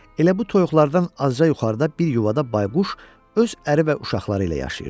Elə bu toyuqlardan azca yuxarıda bir yuvada bayquş öz əri və uşaqları ilə yaşayırdı.